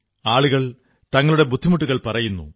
ആളുകൾ തങ്ങളുടെ ബുദ്ധിമുട്ടുകൾ പറയുന്നു